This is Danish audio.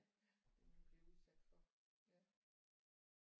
Ja det man bliver udsat for ja